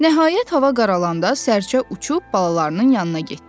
Nəhayət, hava qaralanda sərçə uçub balalarının yanına getdi.